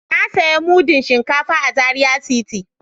Na daya mudu Shinkafan a Zaria city.